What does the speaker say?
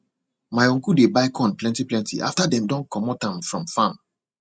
my uncle dey buy corn plentyplenty after dem don comot am from farm